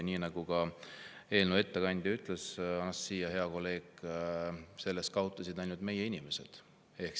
Nii nagu ka eelnõu ettekandja, hea kolleeg Anastassia ütles, sellest kaotasid ainult meie inimesed.